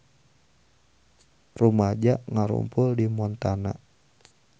Rumaja ngarumpul di Montana